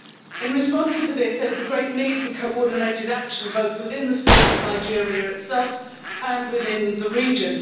In responding to this, there is a great need for coordinated action both within the State of Nigeria itself and within the region.